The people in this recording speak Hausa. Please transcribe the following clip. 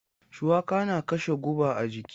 Shuwaka na kashe guba a jiki.